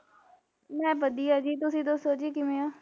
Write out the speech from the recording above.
ਮੈ ਵਧੀਆ ਜੀ ਤੁਸੀਂ ਦੱਸੋ ਜੀ ਕਿਵੇਂ ਓ